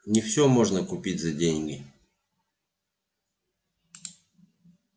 не всё можно купить за деньги